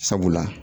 Sabula